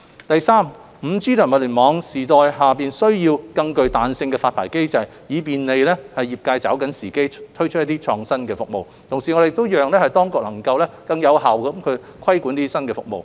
第三 ，5G 及物聯網時代下需要更具彈性的發牌機制，以便利業界抓緊時機推出創新服務，同時讓當局能夠更有效規管這些新服務。